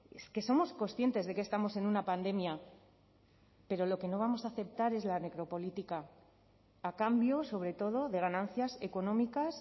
es que somos conscientes de que estamos en una pandemia pero lo que no vamos a aceptar es la necropolítica a cambio sobre todo de ganancias económicas